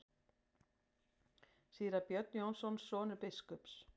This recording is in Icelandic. Síra Björn Jónsson, sonur biskups.